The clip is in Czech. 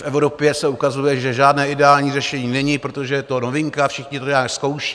V Evropě se ukazuje, že žádné ideální řešení není, protože je to novinka, všichni to nějak zkouší.